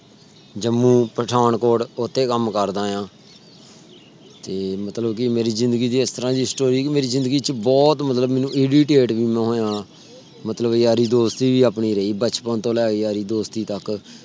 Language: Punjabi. ਜੰਮੂ ਪਠਾਨਕੋਟ ਓਥੇ ਕਮ ਕਰਦਾ ਆਂ। ਤੇ ਮਤਲਬ ਮੇਰੀ ਜ਼ਿੰਦਗੀ ਦੀ ਇਸ ਤਰਾਹ ਦੀ story ਕਿ ਮੇਰੀ ਜ਼ਿੰਦਗੀ ਚ ਬਹੁਤ ਮਤਲਬ ਮੈਨੂੰ irritate ਵੀ ਮੈਂ ਹੋਇਆ। ਮਤਲਬ ਯਾਰੀ ਦੋਸਤੀ ਵੀ ਆਪਣੀ ਰਹੀ। ਬਚਪਨ ਤੋਂ ਲੇਕੇ ਯਾਰੀ ਦੋਸਤੀ ਤਕ